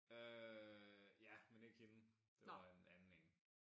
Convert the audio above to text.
Øh ja men ikke hende det var en anden en